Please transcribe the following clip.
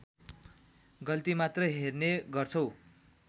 गल्ती मात्र हेर्ने गर्छौं